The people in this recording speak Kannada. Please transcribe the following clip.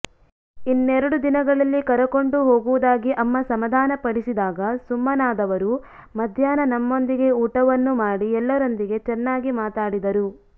ಇನ್ನೆರಡು ದಿನದಲ್ಲಿ ಕರಕೊಂಡು ಹೋಗುವುದಾಗಿ ಅಮ್ಮ ಸಮಾಧಾನಪಡಿಸಿದಾಗ ಸುಮ್ಮನಾದವರು ಮಧ್ಯಾಹ್ನ ನಮ್ಮಂದಿಗೆ ಊಟವನ್ನೂ ಮಾಡಿ ಎಲ್ಲರೊಂದಿಗೆ ಚೆನ್ನಾಗಿ ಮಾತಾಡಿದರು